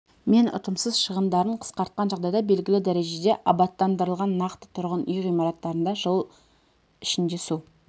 мен ұтымсыз шығындарын қысқартқан жағдайда белгілі дәрежеде абаттандырылған нақты тұрғын үй ғимараттарында жыл ішінде су